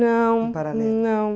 Não, não.